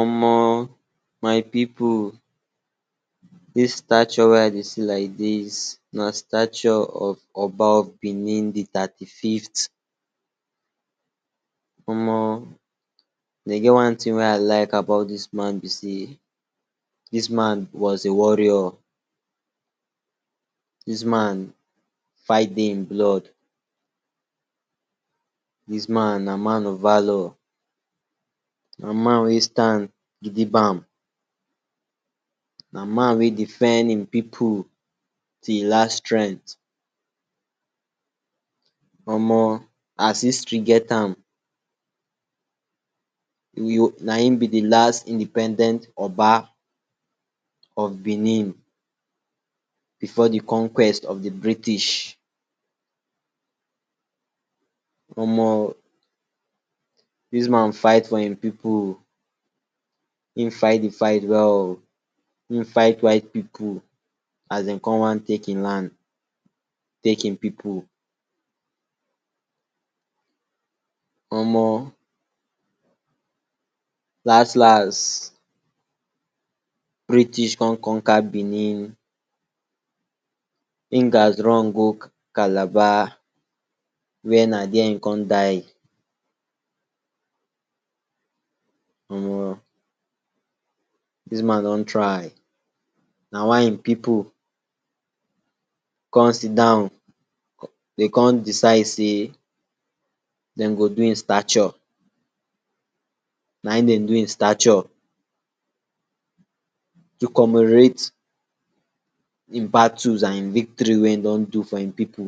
Omo! my pipu, dis stature wey I dey see like dis na stature of Oba of Bini, di tati fift. Omo! e get one tin wey I like about dis man be sey dis man was a warrior, dis man fight dey im blood, dis man na man of valor, na man wey stand gidibam, na man wey defend im pipu till last strengt. Omo! as history get am, naim be di last independent Oba of Bini before di conquest of di British. Omo! dis man fight for im pipu, e fit di fight well, e fight white pipu as den kon wan take e land, take e pipu. Omo! last last British kon conquer Bini, e gats run go Calabar were na dier e kon die. Omo! dis man don try, na why e pipu kon sit down, den kon decide sey den go do e stature, na e den do e stature, to commemorate e battles and e victory wey e don do for im pipu,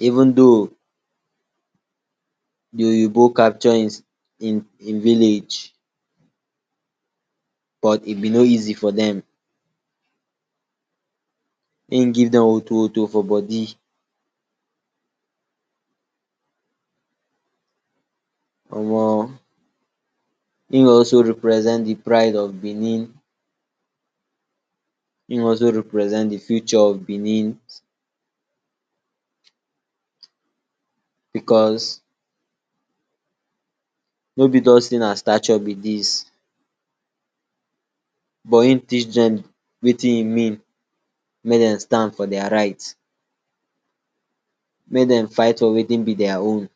even though di oyinbo capture im im village but e be no easy for dem. E give dem wotowoto for body. Omo! e also represent di pride of Bini, he also represent di future of Bini, because no be just sey na stature be dis, but e teach dem wetin e mean mey den stand for dier right, mey den fight for wetin be dier own.